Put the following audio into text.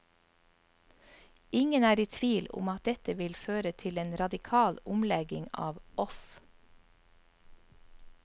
Ingen er i tvil om at dette vil føre til en radikal omlegging av off.